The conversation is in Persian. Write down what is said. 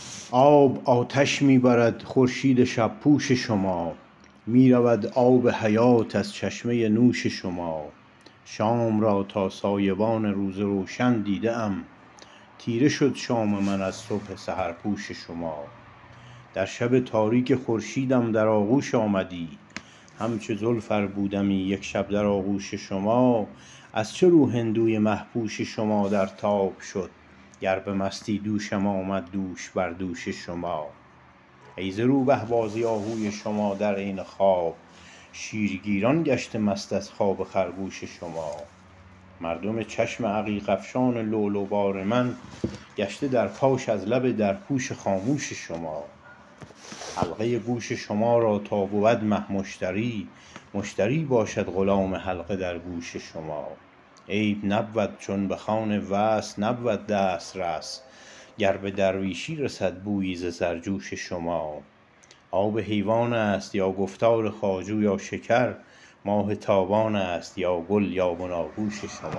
آب آتش می برد خورشید شب پوش شما می رود آب حیات از چشمه ی نوش شما شام را تا سایبان روز روشن دیده ام تیره شد شام من از صبح سحرپوش شما در شب تاریک خورشیدم در آغوش آمدی همچو زلف ار بودمی یک شب در آغوش شما از چه رو هندوی مه پوش شما در تاب شد گر بمستی دوشم آمد دوش بر دوش شما ای زروبه بازی آهوی شما در عین خواب شیر گیران گشته مست از خواب خرگوش شما مردم چشم عقیق افشان لؤلؤ بار من گشته در پاش از لب در پوش خاموش شما حلقه ی گوش شما را تا بود مه مشتری مشتری باشد غلام حلقه در گوش شما عیب نبود چون بخوان وصل نبود دسترس گر بدرویشی رسد بویی ز سرجوش شما آب حیوانست یا گفتار خواجو یا شکر ماه تابانست یا گل یا بنا گوش شما